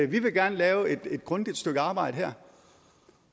vi vil gerne lave et grundigt stykke arbejde her